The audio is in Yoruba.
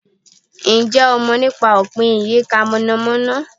Ǹjẹ́ o mọ̀ nípa Opin Iyika monamona?